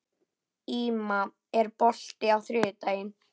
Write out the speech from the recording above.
Íma, er bolti á þriðjudaginn?